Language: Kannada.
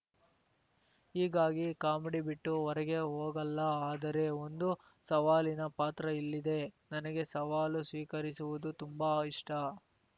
ಹೀಗಾಗಿ ಕಾಮಿಡಿ ಬಿಟ್ಟು ಹೊರಗೆ ಹೋಗಲ್ಲ ಆದರೆ ಒಂದು ಸವಾಲಿನ ಪಾತ್ರ ಇಲ್ಲಿದೆ ನನಗೇ ಸವಾಲು ಸ್ವೀಕರಿಸುವುದು ತುಂಬಾ ಇಷ್ಟ